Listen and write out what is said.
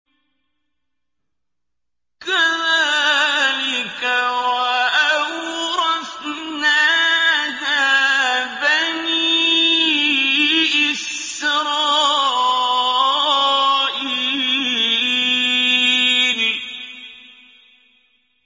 كَذَٰلِكَ وَأَوْرَثْنَاهَا بَنِي إِسْرَائِيلَ